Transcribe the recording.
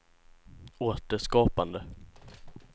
återskapande